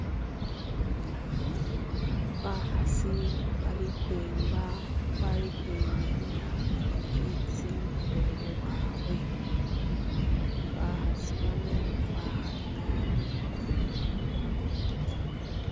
bahasi bali hwimba bali hwinenya isi wele wawe bahasi bano bahali nabi